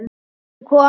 Nú ert þú komin heim.